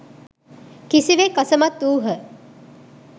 කිසිවෙක් අසමත් වූහ